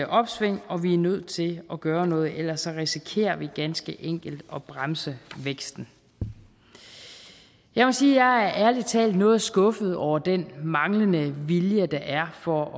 opsving og vi er nødt til at gøre noget for ellers risikerer vi ganske enkelt at bremse væksten jeg må sige at jeg ærlig talt er noget skuffet over den manglende vilje der er for